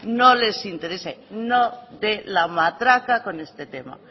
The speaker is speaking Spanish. no les interesa no de la matraca con este tema